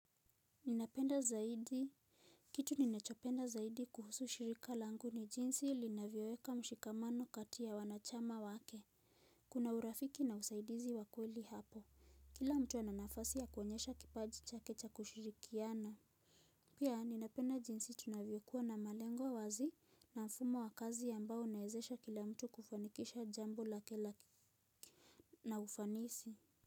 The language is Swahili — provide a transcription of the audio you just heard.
Ninapenda zaidi. Kitu ninachopenda zaidi kuhusu shirika langu ni jinsi linavyoweka mshikamano kati ya wanachama wake. Kuna urafiki na usaidizi wa kweli hapo. Kila mtu ana nafasi ya kuonyesha kipaji chake cha kushirikiana. Pia ninapenda jinsi tunavyo kuwa na malengo wazi na mfumo wa kazi ambao unaezesha kila mtu kufanikisha jambo lake na ufanisi.